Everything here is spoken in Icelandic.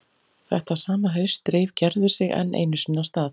Þetta sama haust dreif Gerður sig enn einu sinni af stað.